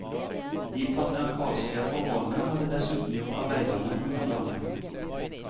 De patriarkalske forholdene hadde dessuten gjort arbeiderne underdanige.